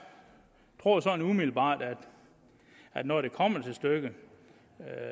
tror sådan umiddelbart at når det kommer til stykket